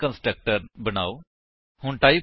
ਹੁਣ ਵੇਖੋ ਕਿ ਕੰਸਟਰਕਟਰ ਨੂੰ ਓਵਰਲੋਡ ਕਿਵੇਂ ਕਰੀਏ